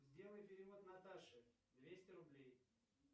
сделай перевод наташе двести рублей